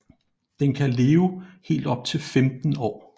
Den kan leve helt op til 15 år